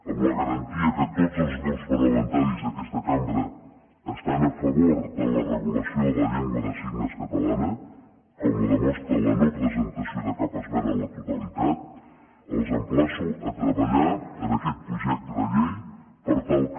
amb la garantia que tots els grups parlamentaris d’aquesta cambra estan a favor de la regulació de la llengua de signes catalana com ho demostra la no presentació de cap esmena a la totalitat els emplaço a treballar en aquest projecte de llei per tal que